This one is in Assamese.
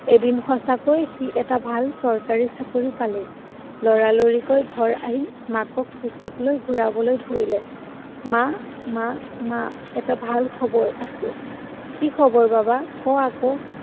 এদিন সঁচাকৈ সি এটা ভাল চৰকাৰী চাকৰি পালে। লৰালৰিকৈ ঘৰ আহি মাকক কোঁচত লৈ ঘুৰাবলৈ ধৰিলে। মা, মা, মা, এটা ভাল খবৰ আছে। কি খবৰ, বাবা? ক আকৌ।